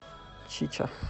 чича